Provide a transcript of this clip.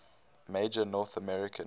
major north american